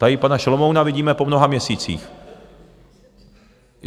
Tady pana Šalomouna vidíme po mnoha měsících.